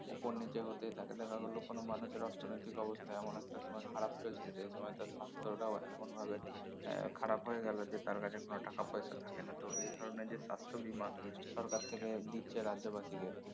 উপর নিচে হতেই থাকে দেখা গেল কোনো মানুষের অর্থনৈতিক অবস্থা এমন একটা সময় খারাপ চলছে যে সময় তার স্বাস্থ্যটাও এমন ভাবে এর খারাপ হয়ে গেলো যে তার কাছে কোনো টাকা পয়সা থাকে না তো এ ধরনের যে স্বাস্থ্য বীমা সরকার থেকে দিচ্ছে রাজ্যবাসীকে